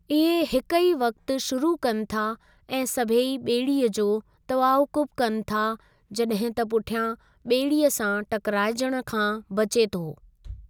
इहे हिक ई वक़्ति शुरू कनि था ऐं सभेई ॿेड़ीअ जो तआक़ुब कनि था, जॾहिं त पुठियां ॿेड़ीअ सां टकिराइजणु खां बचे थो।